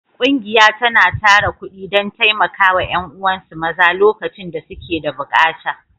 Ƙungiya tana tara kuɗi don taimaka wa ’yan’uwansu maza lokacin da suke da bukata.